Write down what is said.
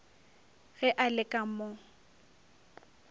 ge a le ka mo